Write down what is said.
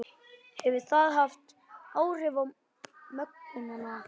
Hefur það haft áhrif á gönguna?